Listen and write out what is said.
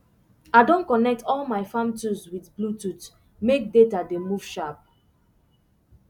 i don connect all my farm tools with bluetooth make data dey move sharp